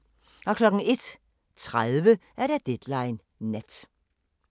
01:30: Deadline Nat